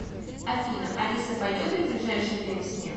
афина алиса пойдет ли в ближайшее время снег